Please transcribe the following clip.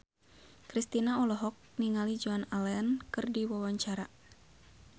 Kristina olohok ningali Joan Allen keur diwawancara